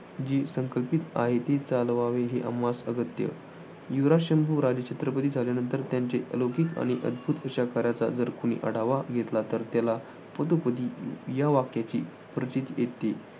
जे संकल्पित आहे ते चालवावे हे आम्हास अगत्य युवराज शंभू राजे छत्रपती झाल्यानंतर त्यांचे अलौकिक आणि अद्भुत अशा कार्याचा जर कुणी आढावा घेतला तर त्याला पदोपदी या वाक्याची प्रचीती येते.